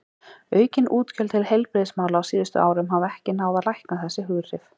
Aukin útgjöld til heilbrigðismála á síðustu árum hafa ekki náð að lækna þessi hughrif.